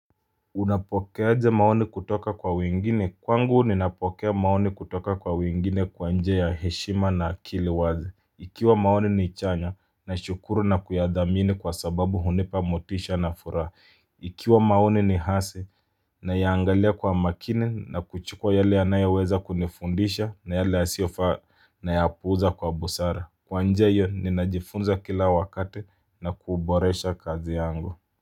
Unapokeaje maoni kutoka kwa wengine? Kwangu ninapokea maoni kutoka kwa wingine kwa njia ya heshima na akili wazi. Ikiwa maoni ni chanya nashukuru na kuyathamini kwa sababu hunipa motisha na furaha. Ikiwa maoni ni hase nayaangalia kwa makini na kuchukua yale yanayoweza kunifundisha na yale yasiofaa na yaapuza kwa busara. Kwa njia hio ninajifunza kila wakati na kuboresha kazi yangu.